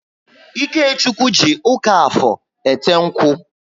Ikechukwu ji ụka Afọr ete nkwu